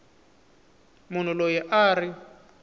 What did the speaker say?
munhu loyi a a ri